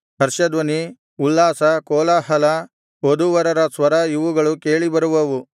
ಹರ್ಷಧ್ವನಿ ಉಲ್ಲಾಸ ಕೋಲಾಹಲ ವಧೂವರರ ಸ್ವರ ಇವುಗಳು ಕೇಳಿಬರುವವು